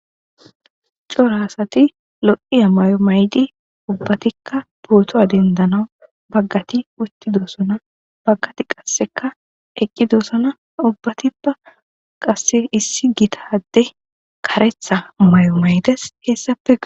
Cora asati lo'iya may'o maydi ubbatikka bootoa dendanawu baggati utti doosana baggati qasseka eqqi doosana ubbatippa qasse issi gitade karetha may'o maydes hessapea.